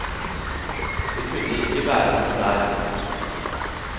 Det kunne ikke være noen der.